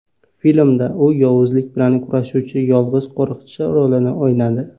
Filmda u yovuzlik bilan kurashuvchi yolg‘iz qo‘riqchi rolini o‘ynadi.